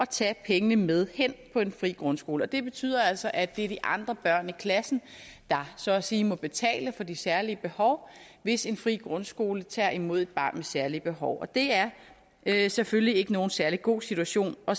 tage pengene med hen på en fri grundskole det betyder altså at det er de andre børn i klassen der så at sige må betale for de særlige behov hvis en fri grundskole tager imod et barn med særlige behov og det er selvfølgelig ikke nogen særlig god situation at